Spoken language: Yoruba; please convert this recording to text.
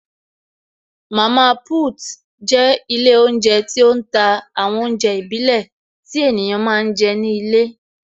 Mama put jẹ́ ilé oúnjẹ tí ó ń ta àwọn oúnjẹ ìbílẹ̀ tí ènìyàn máa ń jẹ ní ilé